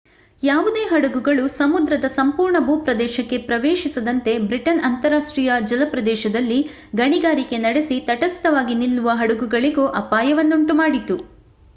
ಯಾವುದೇ ಹಡಗುಗಳು ಸಮುದ್ರದ ಸಂಪೂರ್ಣ ಭೂಪ್ರದೇಶಕ್ಕೆ ಪ್ರವೇಶಿಸದಂತೆ ಬ್ರಿಟನ್ ಅಂತರರಾಷ್ಟ್ರೀಯ ಜಲಪ್ರದೇಶದಲ್ಲಿ ಗಣಿಗಾರಿಕೆ ನಡೆಸಿ ತಟಸ್ಥವಾಗಿ ನಿಲ್ಲುವ ಹಡಗುಗಳಿಗೂ ಅಪಾಯವನ್ನುಂಟುಮಾಡಿತು